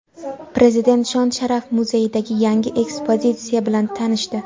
Prezident Shon-sharaf muzeyidagi yangi ekspozitsiya bilan tanishdi.